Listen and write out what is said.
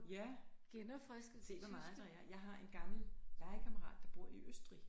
Ja se hvor meget der er jeg har en gammel legekammerat der bor i Østrig